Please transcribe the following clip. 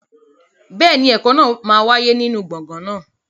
Bẹ́ẹ̀ni, ẹ̀kọ́ náà máa wáyé nínú gbọ̀ngàn náà.